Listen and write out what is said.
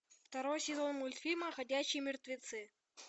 второй сезон мультфильма ходячие мертвецы